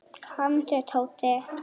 Komdu Tóti.